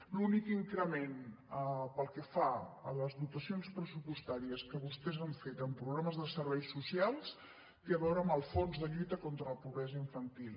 l’únic increment pel que fa a les dotacions pressupostàries que vostès han fet en programes de serveis socials té a veure amb el fons de lluita contra la pobresa infantil